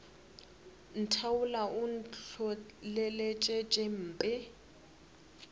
ntheola o ntlholeletša tše mpe